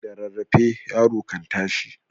Da rarrafe yaro kan tashi.